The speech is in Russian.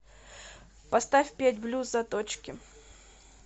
поставь петь блюз заточки